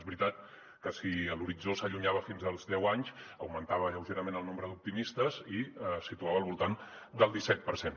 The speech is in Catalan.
és veritat que si l’horitzó s’allunyava fins als deu anys augmentava lleugerament el nombre d’optimistes i es situava al voltant del disset per cent